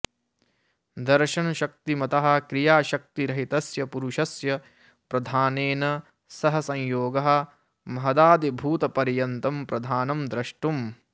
दर्शनशक्तिमतः क्रियाशक्तिरहितस्य पुरुषस्य प्रधानेन सह संयोगः महदादिभूतपर्यन्तं प्रधानं द्रष्टुम्